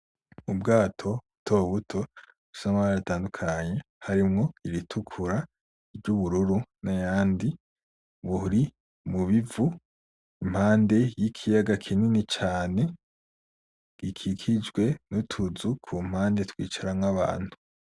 Ubwato butobuto bufise amabara atandukanye harimwo iritukura , ry'ubururu n'ayandi , buri mubi vu impande y'ikiyaga kinini cane , gikikijwe n'utuzu kumpande twicaramwo abantu.